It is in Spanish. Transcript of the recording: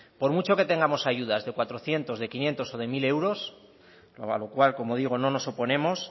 por mucho que tengamos ayudas de cuatrocientos de quinientos o de mil euros a lo cual como digo no nos oponemos